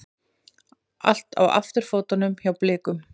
Allt á afturfótunum hjá Blikum